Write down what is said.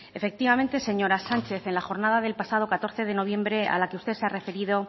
efectivamente señora sánchez en la jornada del pasado catorce de noviembre a la que usted se ha referido